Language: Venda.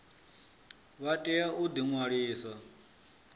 vha tea u ḓi ṅwalisa